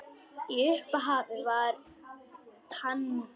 Í upphafi var tangó.